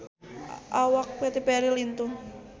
Awak Katy Perry lintuh